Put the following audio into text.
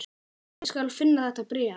Ég skal finna þetta bréf